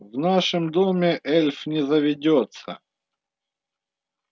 в нашем доме эльф не заведётся